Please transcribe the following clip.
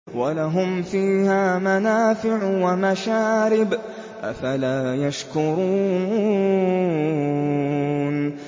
وَلَهُمْ فِيهَا مَنَافِعُ وَمَشَارِبُ ۖ أَفَلَا يَشْكُرُونَ